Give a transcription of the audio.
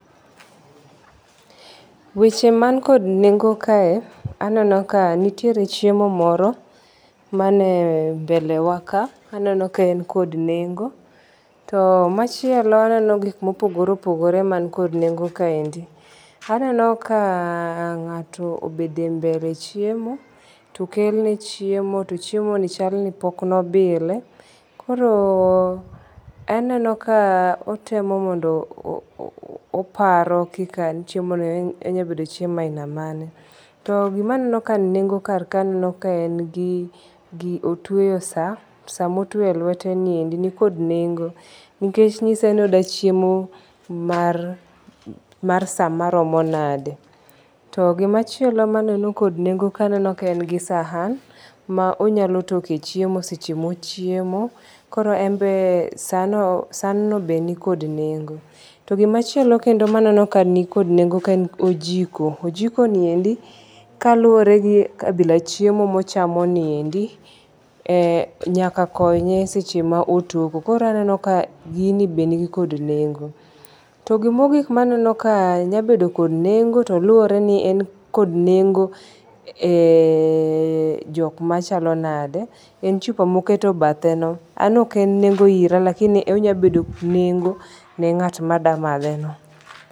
Weche man kod nengo kae aneno ka nitiere chiemo moro mane mbele wa ka. Aneno ka en kod nengo. To machielo aneno gik mopogore opogore man kod nengo kaendi. Aneno ka ng'ato obede mbele chiemo. To okel ne chiemo to chiemo ni chal ni pok ne obile. Koro aneno ka otemo mondo oparo kaka chiemo no onyalo bedo chiemo aina mane. To gima aneno ka nigi nengo kar ka anano ka en gi otweyo sa. Sa motweyo e lwete niendi ni kond nengo nikech nyise ni ogwa chiemo mar sa maromo nade. To gimachielo maneno kod nengo ka aneno ka en gi sahan ma onyalo toko e chiemo seche mochiemo. Koro enbe san no be nikod nengo. To gimachielo kendon maneno ka ni kod nengo kaendi en ojiko. Ojiko niendi kaluwore gi kabila chiemo mochamo niendi nyaka konye seche ma otoko koro aneno ka gini be nigi kod nengo. To gima ogik maneno kae nyabedo kod nengo to luwore ni en kod nengo e jok machalo nade en chupa moketo bathe no. An ok en kod nengo ira to lakingi onyalo bedo nengo ne kat mada madhe no.